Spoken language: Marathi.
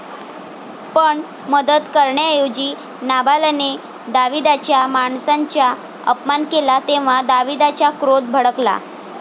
पण, मदत करण्याऐवजी नाबालाने दाविदाच्या माणसांचा अपमान केला, तेव्हा दाविदाचा क्रोध भडकला.